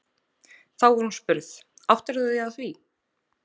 Þá var hún spurð: Áttar þú þig á því?